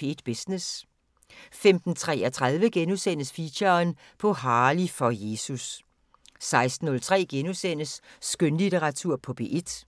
P1 Business * 15:33: Feature: På Harley for Jesus * 16:03: Skønlitteratur på P1 *